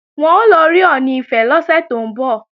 Wọ́n ń lọ rí Ọọ̀ni Ifẹ̀ lọ́sẹ̀ tó ń bọ̀